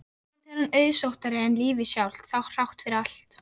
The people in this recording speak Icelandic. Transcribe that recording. Vonandi er hann auðsóttari en lífið sjálft, þrátt fyrir allt.